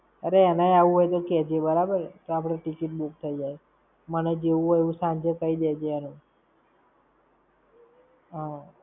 અરે એનેય આવું હોય તો કે જે, બરાબર. તો આપણે ticket book થઇ જાય. મને જેવું હોય એવું સાંજે કઈ દેજે એનું. હમ્મ.